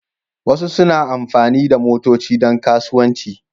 Wasu suna amfani da motoci don kasuwanci.